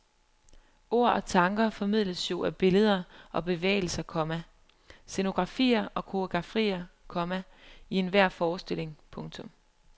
Ord og tanker formidles jo af billeder og bevægelser, komma scenografier og koreografier, komma i enhver forestilling. punktum